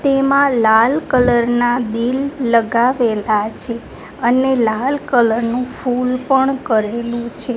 તેમાં લાલ કલર ના દિલ લગાવેલા છે અને લાલ કલર નું ફૂલ પણ કરેલું છે.